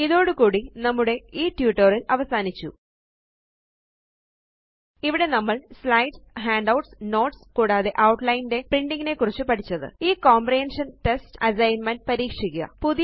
ഇതോടുകൂടി നമ്മുടെ ഈ ട്യൂട്ടോറിയൽ അവസാനിച്ചു ഇവിടെ നമ്മൾ സ്ലൈഡ്സ് ഹാൻഡൌട്ട്സ് നോട്ട്സ് കൂടാതെ ഔട്ട്ലൈൻ ന്റെ പ്രിന്റിംഗ് നെ കുറിച്ച് പഠിച്ചത് ഈ കോമ്പ്രഹന്ഷന് ടെസ്റ്റ് അസൈന്മെന്റ് പരീക്ഷിക്കുക